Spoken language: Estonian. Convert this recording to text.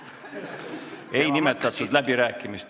Läbirääkimistel ei nimetatud.